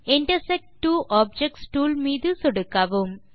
intersect two objects tool மீது சொடுக்கவும்